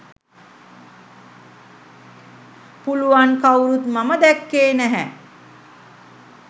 පුළුවන් කවුරුත් මම දැක්කේ නැහැ.